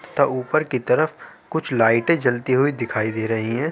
तथा ऊपर की तरफ कुछ लाइटें जलती हुई दिखाई दे रही हैं।